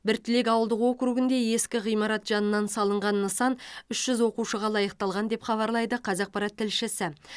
біртілек ауылдық округінде ескі ғимарат жанынан салынған нысан үш жүз оқушыға лайықталған деп хабарлайды қазақпарат тілшісі